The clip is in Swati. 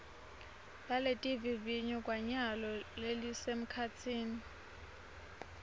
laletivivinyo kwanyalo lelisemkhatsini